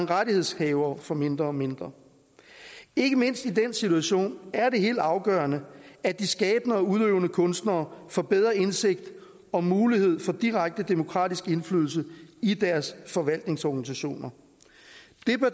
rettighedshavere får mindre og mindre ikke mindst i den situation er det helt afgørende at de skabende og udøvende kunstnere får bedre indsigt og mulighed for direkte demokratisk indflydelse i deres forvaltningsorganisationer